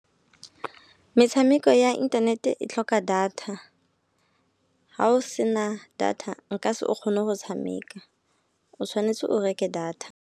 Metshameko ya internet-e e tlhoka data ha o sena data nka se o kgone go tshameka. O tshwanetse o reke data.